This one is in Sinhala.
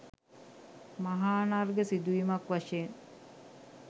මහානර්ඝ සිදුවීමක් වශයෙන්